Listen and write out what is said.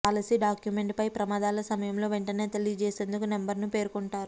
policy document పై ప్రమాదాల సమయంలో వెంటనే తెలియజేసేందుకు నంబర్ ను పేర్కొంటారు